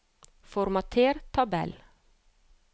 Formater tabell